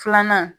Filanan